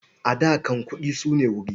A da can, kuɗi su ne wuri.